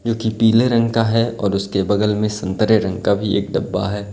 जो कि पीले रंग का है और उसके बगल में संतरे रंग का भी एक डब्बा है।